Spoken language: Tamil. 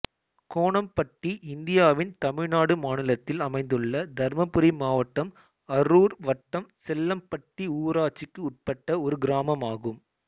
கோணம்பட்டி இந்தியாவின் தமிழ்நாடு மாநிலத்தில் அமைந்துள்ள தர்மபுரி மாவட்டம் அரூர் வட்டம் செல்லம்பட்டி ஊராட்சிக்கு உட்பட்ட ஒரு கிராமம் ஆகும்